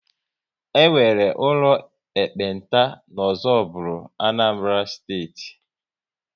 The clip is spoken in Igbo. E nwere ụlọ ekpenta n'Ozubulu, Anambra Steeti